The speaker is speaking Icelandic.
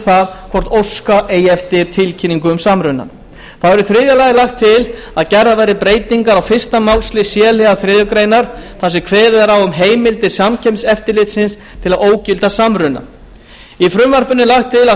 það hvort óska eigi eftir tilkynningu um samrunann þá er í þriðja lagi lagt til að gerðar verði breytingar á fyrsta málslið c liðar þriðju grein þar sem kveðið er á um heimildir samkeppniseftirlitsins til að ógilda samruna í frumvarpinu er lagt til að